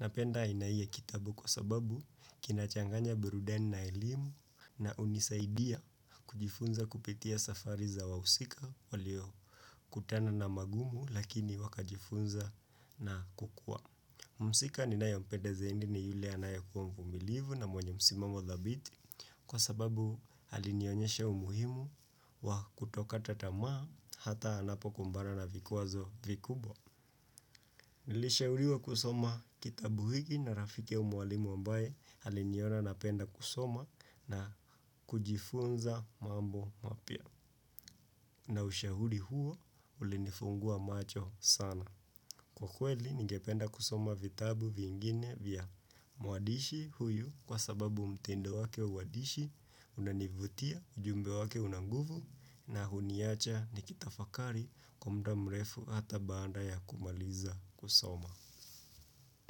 Napenda aina hii ya kitabu kwa sababu kinachanganya burudani na elimu na unisaidia kujifunza kupitia safari za wawusika waliokutana na magumu lakini wakajifunza na kukua. Muhusika ninayompenda zaindi ni yule anayekuwa mvumilivu na mwenye msimamo dhabiti kwa sababu halinionyeshe umuhimu wa kutoka tatamaa hata anapo kumbana na vikuwazo vikubwa. Nilishahuriwa kusoma kitabu hiki na rafike umwalimu ambaye haliniona napenda kusoma na kujifunza mambo mapia. Na ushahudi huo ulinifungua macho sana. Kwa kweli ningependa kusoma vitabu vingine vya muadishi huyu kwa sababu mtendo wake uwadishi unanivutia ujumbe wake unanguvu na huniacha nikitafakari kwa mda mrefu hata baada ya kumaliza kusoma.